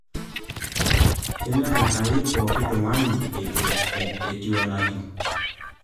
Kenyorr Enkai pooki tung'ani etiu enetiu